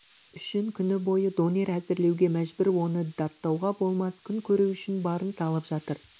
үшін күні бойы донер әзірлеуге мәжбүр оны даттауға болмас күн көру үшін барын салып жатыр